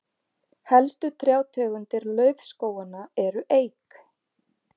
helstu trjátegundir laufskóganna eru eik